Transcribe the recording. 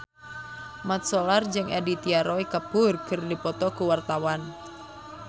Mat Solar jeung Aditya Roy Kapoor keur dipoto ku wartawan